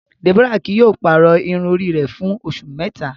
Deborah kii yóò pàrọ irun ori rẹ fun oṣu mẹta